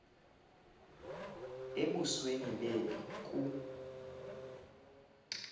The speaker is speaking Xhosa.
embusweni leli ku